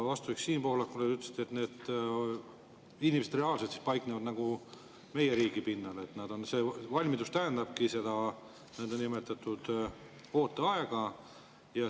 Vastuseks Siim Pohlakule te ütlesite, et need inimesed reaalselt paiknevad meie riigi pinnal, et valmidus tähendabki niinimetatud ooteaega.